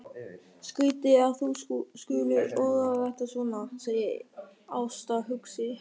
Skrýtið að þú skulir orða þetta svona, segir Ásta hugsi.